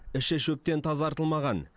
іші шөптен тазартылмаған